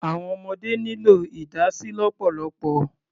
Àwọn ọmọdé nílò ìdásí lọ́pọ̀lọpọ̀.